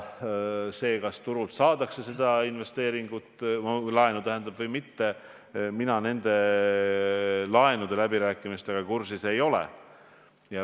Kas turult saadakse laenu või mitte, mina nende läbirääkimistega kursis ei ole.